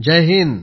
Jai Hind